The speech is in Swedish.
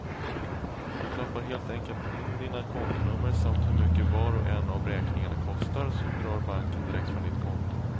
Du knappar helt enkelt in dina kontonummer samt hur mycket var och en av räkningarna kostar, så drar banken direkt från ditt konto.